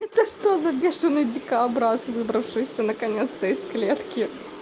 это что за бешеный дикообраз выбравшийся наконец-то из клетки